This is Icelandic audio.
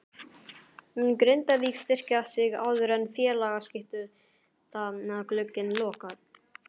Mun Grindavík styrkja sig áður en félagaskiptaglugginn lokar?